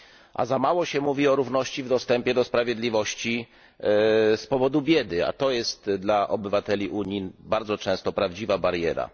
A za mało się mówi o równości w dostępie do sprawiedliwości z powodu biedy, a to jest dla obywateli Unii bardzo często prawdziwa bariera.